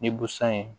Ni busan ye